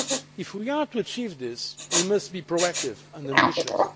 If we are to achieve this, we must be proactive and ambitious.